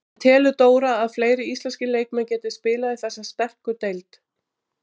En telur Dóra að fleiri íslenskir leikmenn geti spilað í þessari sterku deild?